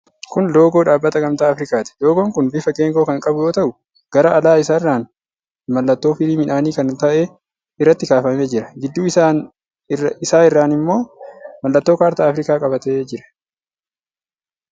Kun loogoo dhaabbata Gamtaa Afrikaati. Loogoon kun bifa geengoo kan qabu yoo ta'u, Gara ala isaarraan mallattoo firii midhaanii kan ta'e irratti kaafamee jira. Gidduu isaa irran ammoo mallattoo kaartaa Afrikaa qabatee jira.